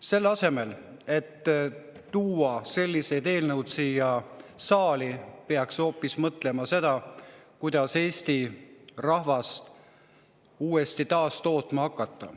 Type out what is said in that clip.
Selle asemel, et tuua siia saali selliseid eelnõusid, peaks hoopis mõtlema sellele, kuidas Eesti rahvast uuesti taastootma hakata.